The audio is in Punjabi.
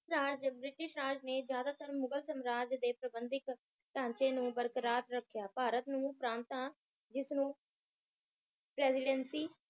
ਸ਼ਾਹ ਜਦ ਬ੍ਰਿਟਿਸ਼ ਰਾਜ ਨੇ ਜਾਦਾਤਰ ਮੁਗ਼ਲ ਸਮ੍ਰਾਟ ਦੇ ਪ੍ਰਬੰਦਿਤ ਢਾਂਚੇ ਨੂੰ ਬਰਕਰਾਰ ਰੱਖੀਆਂ ਭਾਰਤ ਨੂੰ ਪ੍ਰਾਂਤਾਂ ਜਿੱਸ ਨੂੰ Presidency